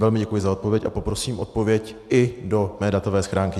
Velmi děkuji za odpověď a poprosím odpověď i do mé datové schránky.